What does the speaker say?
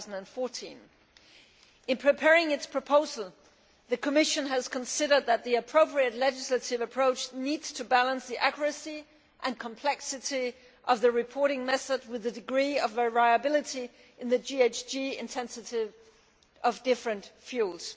2014. In preparing its proposal the Commission has considered that the appropriate legislative approach needs to balance the accuracy and complexity of the reporting method with the degree of variability in the GHG intensities of different fuels.